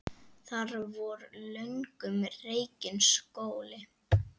Þar var löngum rekinn skóli.